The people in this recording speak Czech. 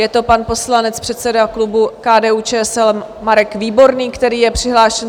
Je to pan poslanec, předseda klubu KDU-ČSL Marek Výborný, který je přihlášen.